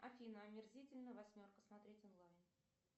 афина омерзительная восьмерка смотреть онлайн